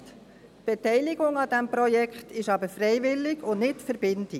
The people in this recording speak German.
Die Beteiligung an diesem Projekt ist aber freiwillig und nicht verbindlich.